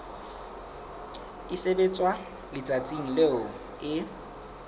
e sebetswa letsatsing leo e